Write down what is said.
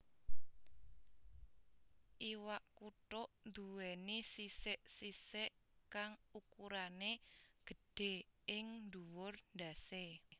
Iwak kutuk nduwèni sisik sisik kang ukurané gedhé ing dhuwur ndhasé